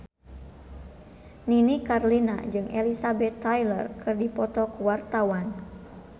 Nini Carlina jeung Elizabeth Taylor keur dipoto ku wartawan